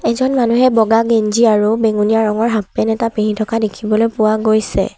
এজন মানুহে বগা গেঞ্জী আৰু বেঙুনীয়া ৰঙৰ হাফ পেণ্ট এটা পিন্ধি থকা দেখিবলৈ পোৱা গৈছে।